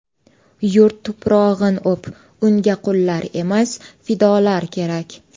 Yurt tuprog‘in o‘p, Unga qullar emas, fidolar kerak.